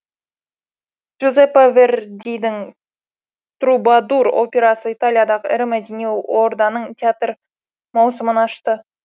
джузеппе вердидің трубадур операсы италиядағы ірі мәдени орданың театр маусымын ашты